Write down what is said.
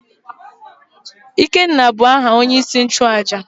ikena bu aha onye-isi-nchu-àjà